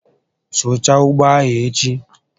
Sụchaa ugbo a echi